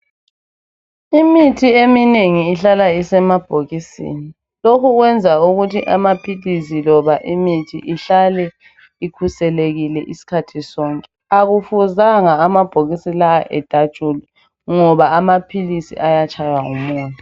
Imithi eminengi ihlala isemabhokisini. Lokhu kwenza ukuthi ama philisi loba imithi ihlale ikhuselekile iskhathi sonke. Akufuzanga amabhokisi la edatshulwe ngoba amaphilisi ayatshaywa ngumoya.